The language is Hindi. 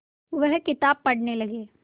वह किताब पढ़ने लगे